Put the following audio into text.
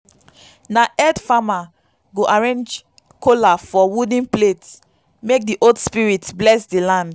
na head farmer go arrange kola for wooden plate make the old spirits bless the land.